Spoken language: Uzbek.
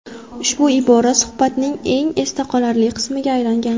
Ushbu ibora suhbatning eng esda qolarli qismiga aylangan.